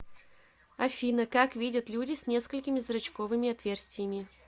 афина как видят люди с несколькими зрачковыми отверстиями